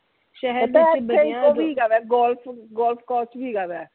ਉਹ ਵੀ ਹੇਗਾ ਵਾ golf golf coach ਵੀ ਹੇਗਾ ਵਾ